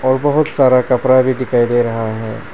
और बहोत सारा कपड़ा भी दिखाई दे रहा है।